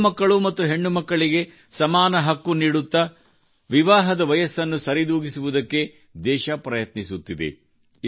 ಗಂಡು ಮಕ್ಕಳು ಹಾಗೂ ಹೆಣ್ಣು ಮಕ್ಕಳಿಗೆ ಸಮಾನ ಹಕ್ಕು ನೀಡುತ್ತಾ ವಿವಾಹದ ವಯಸ್ಸನ್ನು ಸರಿದೂಗಿಸುವುದಕ್ಕೆ ದೇಶ ಪ್ರಯತ್ನಿಸುತ್ತಿದೆ